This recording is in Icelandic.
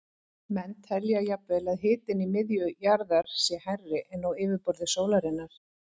Menn telja jafnvel að hitinn í miðju jarðar sé hærri en á yfirborði sólarinnar.